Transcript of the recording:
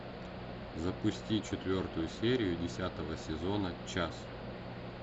запусти четвертую серию десятого сезона час